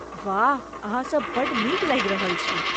वाह, अहाँसभ बड्ड नीक लागि रहल छी।